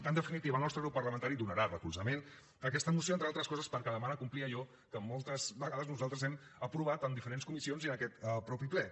en definitiva el nostre grup parlamentari donarà recolzament a aquesta moció entre d’altres coses perquè demana complir allò que moltes vegades nosaltres hem aprovat en diferents comissions i en aquest mateix ple